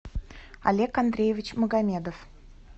олег андреевич магомедов